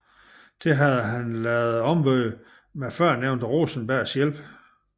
Dette havde han ladet ombygge med førnævnte Rosenbergs hjælp